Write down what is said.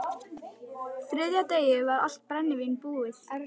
Á þriðja degi var allt brennivín búið.